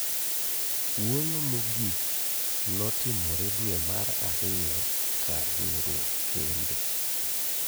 Wuoyo mogik notimore dwe mar ariyo kar riuruok kembe